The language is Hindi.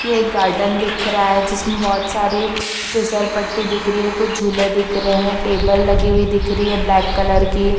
ये एक गार्डन दिख रहा है जिसमे बहुत सारी फिसल पट्टी दिख रही है। कुछ झूले दिख रहे है। टेबल लगी हुई दिख रही है ब्लेक कलर की।